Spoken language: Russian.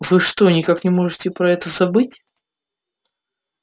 вы что никак не можете про это забыть